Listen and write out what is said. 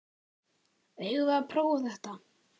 Eigum við að prófa þetta?